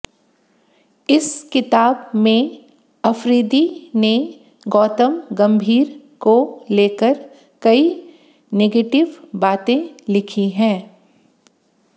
इस किताब में अफरीदी ने गौतम गंभीर को लेकर कई नेगेटिव बातें लिखी हैं